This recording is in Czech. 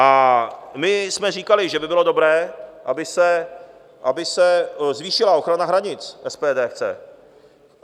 A my jsme říkali, že by bylo dobré, aby se zvýšila ochrana hranic, SPD chce.